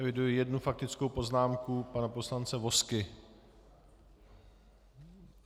Eviduji jednu faktickou poznámku, pana poslance Vozky.